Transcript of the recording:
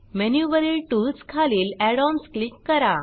menu वरील tools खालील add ओएनएस क्लिक करा